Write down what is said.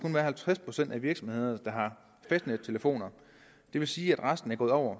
være halvtreds procent af virksomhederne der har fastnettelefoner det vil sige at resten er gået over